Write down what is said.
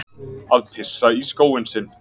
Að pissa í skóinn sinn